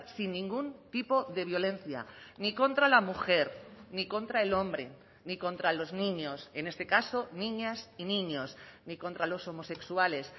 sin ningún tipo de violencia ni contra la mujer ni contra el hombre ni contra los niños en este caso niñas y niños ni contra los homosexuales